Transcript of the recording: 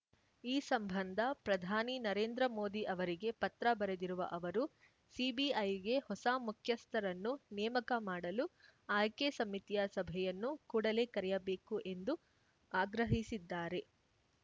ಈ ಸಂಬಂಧ ಪ್ರಧಾನಿ ನರೇಂದ್ರ ಮೋದಿ ಅವರಿಗೆ ಪತ್ರ ಬರೆದಿರುವ ಅವರು ಸಿಬಿಐಗೆ ಹೊಸ ಮುಖ್ಯಸ್ಥರನ್ನು ನೇಮಕ ಮಾಡಲು ಆಯ್ಕೆ ಸಮಿತಿಯ ಸಭೆಯನ್ನು ಕೂಡಲೇ ಕರೆಯಬೇಕು ಎಂದು ಆಗ್ರಹಿಸಿದ್ದಾರೆ